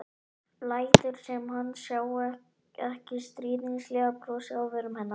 Lætur sem hann sjái ekki stríðnislegt brosið á vörum hennar.